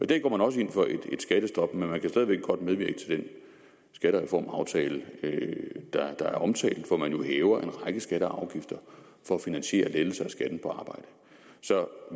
dag går man også ind for et skattestop men man kan stadig væk godt medvirke til den skattereformaftale der er omtalt og man hæver en række skatter og afgifter for at finansiere lettelser af skatten på arbejde så